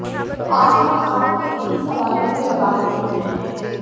तो आज हम आपके इन्हीं सवालों के जवाब देंगे